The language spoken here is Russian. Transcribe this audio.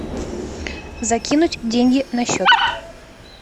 закинуть деньги на счет